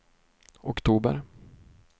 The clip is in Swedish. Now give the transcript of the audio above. oktober